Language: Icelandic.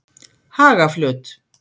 Hagaflöt